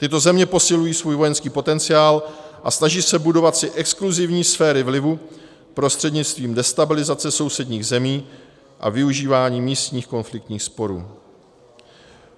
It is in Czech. Tyto země posilují svůj vojenský potenciál a snaží se budovat si exkluzivní sféry vlivu prostřednictvím destabilizace sousedních zemí a využíváním místních konfliktních sporů.